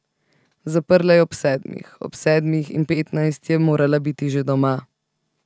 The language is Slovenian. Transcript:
Zaprla je ob sedmih, ob sedmih in petnajst je morala biti že doma.